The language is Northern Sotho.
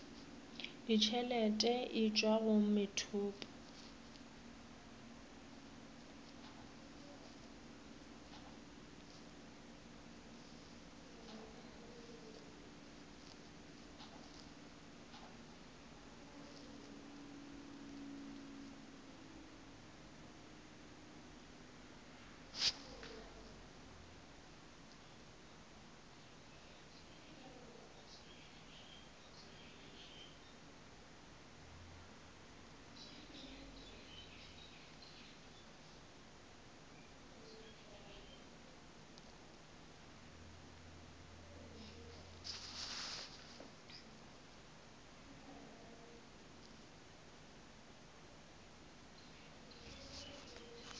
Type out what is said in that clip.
ditšhelete e tšwa go methopo